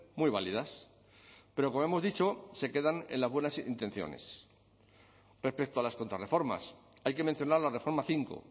muy válidas pero como hemos dicho se quedan en las buenas intenciones respecto a las contrarreformas hay que mencionar la reforma cinco